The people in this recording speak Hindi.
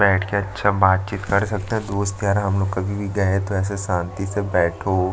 बैठ के अच्छा बातचीत कर सकते है दोस्त यार हमलोग कभी भी गए तो ऐसे शांति से बैठो --